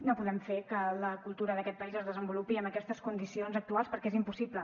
no podem fer que la cultura d’aquest país es desenvolupi en aquestes condicions actuals perquè és impossible